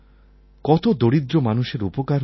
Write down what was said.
কত দরিদ্র মানুষের উপকার হয়েছে